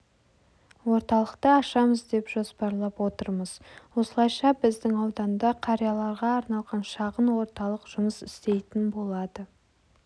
орталықты ашамыз деп жоспарлап отырмыз осылайша біздің ауданда қарияларға арналған шағын орталық жұмыс істейтін болады